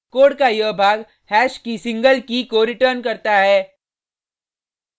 code का यह भाग हैश की सिंगल कीkey को रिटर्न करता है